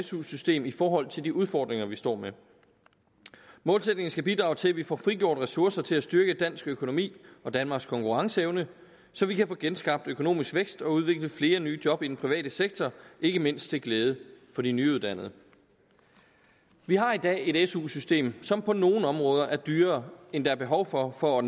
su system i forhold til de udfordringer vi står med målsætningen skal bidrage til at vi får frigjort ressourcer til at styrke dansk økonomi og danmarks konkurrenceevne så vi kan få genskabt økonomisk vækst og udvikle flere nye job i den private sektor ikke mindst til glæde for de nyuddannede vi har i dag et su system som på nogle områder er dyrere end der er behov for for at